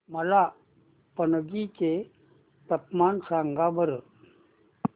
मला पणजी चे तापमान सांगा बरं